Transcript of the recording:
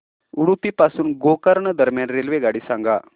उडुपी पासून गोकर्ण दरम्यान रेल्वेगाडी सांगा